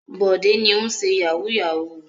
Bọ̀dé ni ó ń ṣe yahoo yahoo.